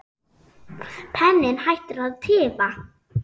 Penninn hættir að tifa.